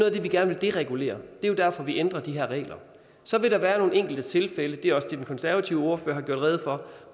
af det vi gerne vil deregulere det er jo derfor vi ændrer de her regler så vil der være nogle enkelte tilfælde det er også det den konservative ordfører har gjort rede for